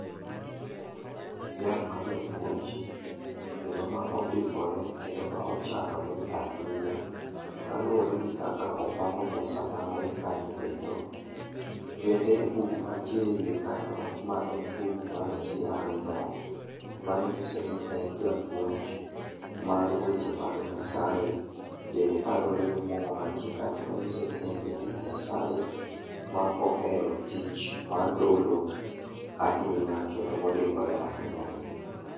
Jal ma japuonj kendo ma odimbore kendo ma ochanore ahinya kaluwore gi kaka opango mesa mare kanyo kendo. Bende buk manitiere e wiye kanyo ma en buk mar CRE, mano nyiso ni e japuonj mar weche mag Nyaseye. Bende kalure gi muma mantie kanyono nyiso ni en jatich Nyasaye maohere tich mar dolo ahinya kendo ma odimbore ahinya ahinya.